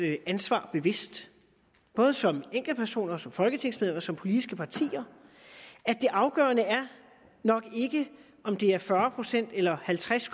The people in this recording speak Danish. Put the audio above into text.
ansvar bevidst både som enkeltpersoner som folketingsmedlemmer og som politiske partier det afgørende er nok ikke om det er fyrre procent eller halvtreds